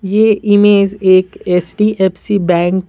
ये इमेज एक HDFC bank --